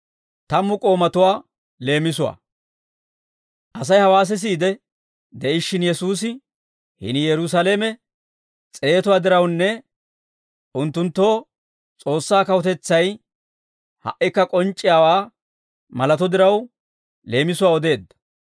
Asay hawaa sisiide de'ishshin Yesuusi, hini Yerusaalame s'eetuwaa dirawunne unttunttoo S'oossaa kawutetsay ha"ikka k'onc'c'iyaawaa malato diraw leemisuwaa odeedda.